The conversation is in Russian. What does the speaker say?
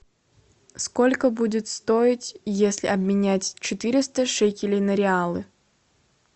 сколько будет стоить если обменять четыреста шекелей на реалы